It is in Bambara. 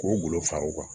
K'o golo far'u kan